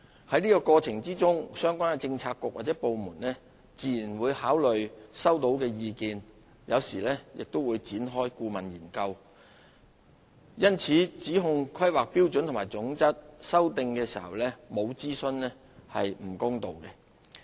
在過程中相關政策局和部門自然會考慮收到的意見，有時亦會展開顧問研究，因此指控《規劃標準》修訂時沒有進行諮詢是不公道的。